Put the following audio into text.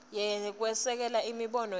kwesekela imibono yakhe